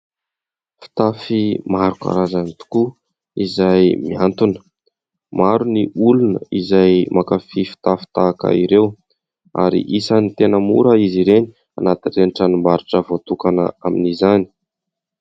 Fitafy maro karazany tokoa, izay mihantona ; maro ny olona izay mankafy fitafy tahaka ireo, ary isan'ny tena mora izy ireny, anatin'ireny tranombarotra voatokana amin'izany.